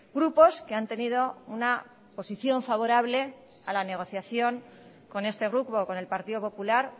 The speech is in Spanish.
grupos que han tenido una posición favorable a la negociación con este grupo con el partido popular